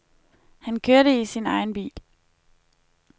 Han kørte i sin egen bil.